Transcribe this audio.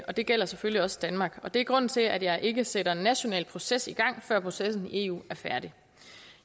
det gælder selvfølgelig også danmark det er grunden til at jeg ikke sætter en national proces i gang før processen i eu er færdig